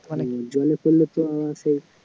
জলে পড়লে তো শেষ